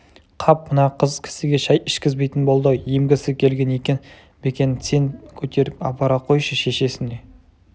қап мына қыз кісіге шай ішкізбейтін болды-ау емгісі келген екен бекен сен көтеріп апара қойшы шешесіне